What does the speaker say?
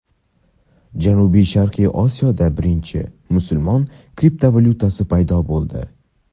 Janubi-sharqiy Osiyoda birinchi musulmon kriptovalyutasi paydo bo‘ldi.